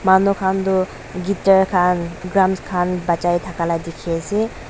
manu khan toh guitar khan drums khan bajai thaka la dikhi ase.